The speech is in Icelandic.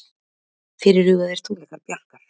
Fyrirhugaðir tónleikar Bjarkar